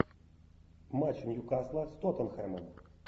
матч ньюкасла с тоттенхэмом